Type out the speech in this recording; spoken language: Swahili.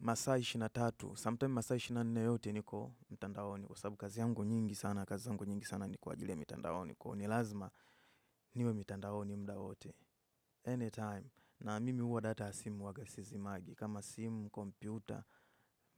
Masaa ishirini na tatu, sometime masaa ishirini na nne yote niko mtandaoni kwa sababu kazi yangu nyingi sana, kazi zangu nyingi sana ni kwa ajili ya mitandaoni kwa hiyo ni lazima niwe mitandaoni muda wote. Anytime, na mimi huwa data ya simu huwaga sizimagi, kama simu, kompyuta,